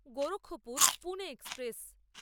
Gorakhpur-Pune express